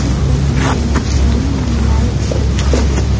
इस तस्वीर में कई महिलाएं इकट्ठी है।